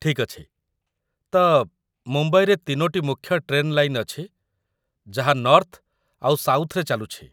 ଠିକ୍ ଅଛି, ତ, ମୁମ୍ବାଇରେ ତିନୋଟି ମୁଖ୍ୟ ଟ୍ରେନ୍ ଲାଇନ୍‌ ଅଛି ଯାହା ନର୍ଥ୍ ଆଉ ସାଉଥ୍‌ରେ ଚାଲୁଛି ।